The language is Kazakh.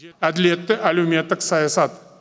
әділетті әлеуметтік саясат